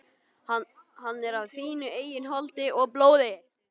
Hann er af þínu eigin holdi og blóði!